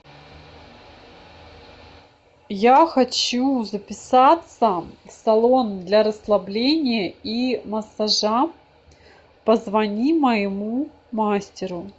я хочу записаться в салон для расслабления и массажа позвони моему мастеру